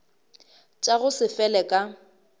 tša go se fele ka